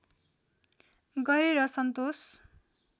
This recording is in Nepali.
गरेर सन्तोष